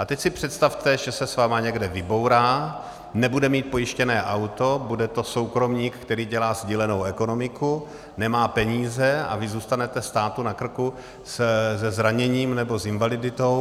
A teď si představte, že se s vámi někde vybourá, nebude mít pojištěné auto, bude to soukromník, který dělá sdílenou ekonomiku, nemá peníze a vy zůstanete státu na krku se zraněním nebo s invaliditou.